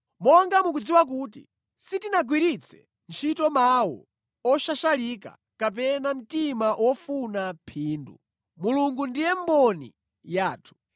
Monga mukudziwa kuti sitinagwiritse ntchito mawu oshashalika kapena mtima wofuna phindu, Mulungu ndiye mboni yathu.